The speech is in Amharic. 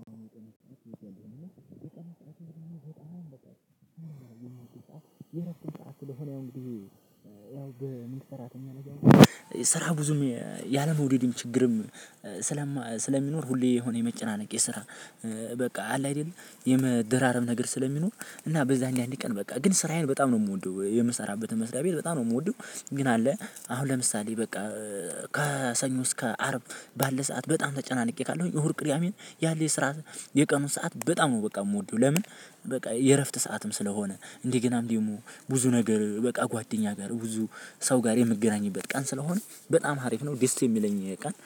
የረጅም ጥያቄ የረጅም ጥያቄ የረጅም ጥያቄ የረጅም ጥያቄ የረጅም ጥያቄ ስለሆነ እንግዲህ ያው ያው በሚሰራተኝ አለ። ስራ ብዙም ያለመውደድም ችግርም ስለማ ስለሚኖር ሁሌ የሆነ የመጨናነቅ የስራ በቃ አለ። አይደል የመደራረብ ነገር ስለሚኖር እና በዛ አንድ አንድ ቀን በቃ ግን ስራዬን በጣም ነው የምወደው የምሰራበትን መስሪያ ቤት በጣም ነው የምወደው። ግን አለ አሁን ለምሳሌ በቃ ከሰኞ እስከ አርብ ባለ ሰዓት በጣም ተጨናንቄ ካለሁኝ እሁድ ቅርያሜን ያለ የስራ የቀኑን ሰዓት በጣም ነው በቃ የምወደው። ለምን? በቃ የእረፍት ሰዓትም ስለሆነ እንዲህ ገና እንዲህ ደግሞ ብዙ ነገር በቃ ጓደኛ ጋር ብዙ ሰው ጋር የምትገናኝበት ቀን ስለሆነ በጣም አሪፍ ነው። ደስ የሚለኝ ቀን